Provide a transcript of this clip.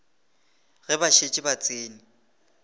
ge ba šetše ba tsene